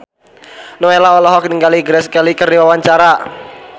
Nowela olohok ningali Grace Kelly keur diwawancara